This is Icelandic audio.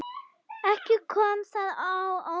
Ekki kom það á óvart.